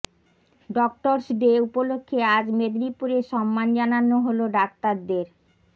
doctors day উপলক্ষে আজ মেদিনীপুরে সম্মান জানানো হল ডাক্তারদের